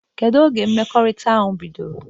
Kedu oge mmekọrịta ahụ bidoro?